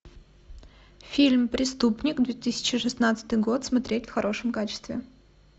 фильм преступник две тысячи шестнадцатый год смотреть в хорошем качестве